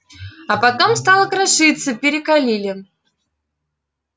а потом стала крошиться перекалили